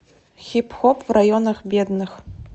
хип хоп в районах бедных